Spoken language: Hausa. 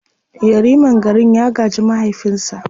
Yariman garin ya gaji mahaifinsa.